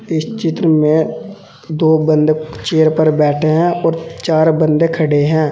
इस चित्र में दो बंदे चेयर पर बैठे हैं और चार बंदे खड़े हैं।